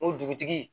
O dugutigi